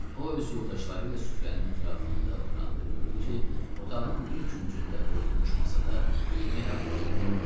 O öz yoldaşları ilə süfrənin ətrafında oturanda gördü ki, otağın bir küncündə qoyulmuş masada yemək artığı qalıb.